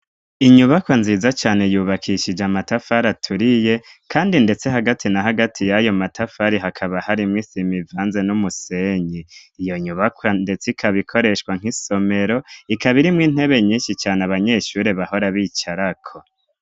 inyubakwa nziza cane yubakishije matafari aturiye kandi ndetse hagati na hagati y'ayo matafari hakaba harimwo isima ivanze n'umusenyi iyo nyubaka ndetse ikabikoreshwa nk'isomero ikaba irimwo intebe nyinshi cane abanyeshuri bahora bicarako